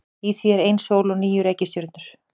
Í því er ein sól og níu reikistjörnur.